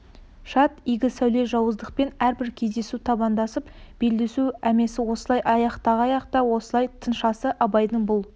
шат игі сәуле жауыздықпен әрбір кездесу табандасып белдесу әмісе осылай аяқтағай-ақ та осылай тынсашы абайдың бұл